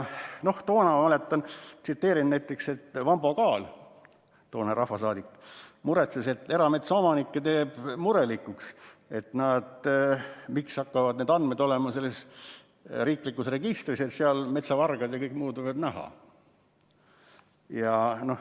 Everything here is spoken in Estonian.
Ma tsiteerin näiteks, et Vambo Kaal, toonane rahvasaadik, muretses, et erametsaomanikke teeb murelikuks, miks hakkavad need andmed olema riiklikus registris, kust metsavargad ja kõik muud võivad neid näha.